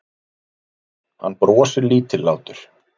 Hann brosir lítillátur.